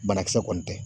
Banakisɛ kɔni tɛ